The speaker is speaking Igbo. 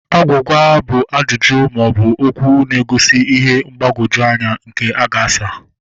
Agwugwa bụ ajụjụ maọbụ okwụ na-egosi ihe mgbagwoju anya nke a ga-asa